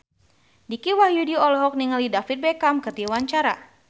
Dicky Wahyudi olohok ningali David Beckham keur diwawancara